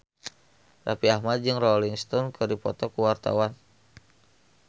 Raffi Ahmad jeung Rolling Stone keur dipoto ku wartawan